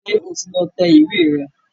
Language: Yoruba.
Ṣé o ti lọ tẹ ìwé rẹ̀